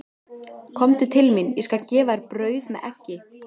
Komdu til mín, ég skal gefa þér brauð með eggi.